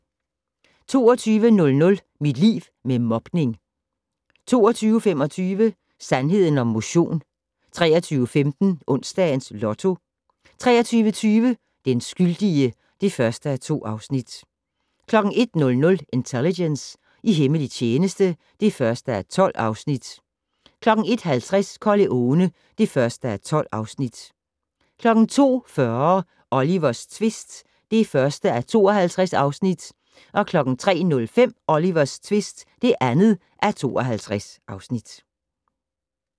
22:00: Mit liv med mobning 22:25: Sandheden om motion 23:15: Onsdags Lotto 23:20: Den skyldige (1:2) 01:00: Intelligence - i hemmelig tjeneste (1:12) 01:50: Corleone (1:12) 02:40: Olivers tvist (1:52) 03:05: Olivers tvist (2:52)